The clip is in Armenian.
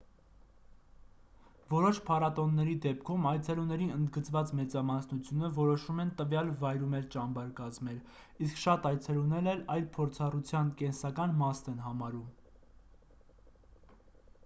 որոշ փառատոնների դեպքում այցելուների ընդգծված մեծամասնությունը որոշում են տվյալ վայրում էլ ճամբար կազմել իսկ շատ այցելուներ էլ այն փորձառության կենսական մասն են համարում